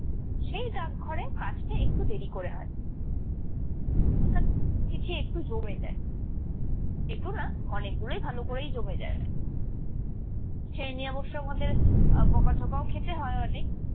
সেই ডাকঘরে কাজটা একটু দেরি করে হয়। অর্থাৎ চিঠি একটু জমে যায়, একটু না অনেক গুলোই ভালো করে জমে যায়। সেই নিয়ে অবশ্য আমাদের আহ বকা - ঝকাও খেতে হয় অনেক।